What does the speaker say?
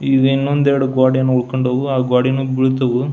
ಈದ್ ಇನ್ನೊಂದ್ ಎರಡ್ ಗೋಡೆಯೇನೋ ಉಳ್ಕೊಂಡವು ಆಹ್ಹ್ ಗೋಡೆ ಮ್ಯಾಗೆ ಬೀಳ್ತವು.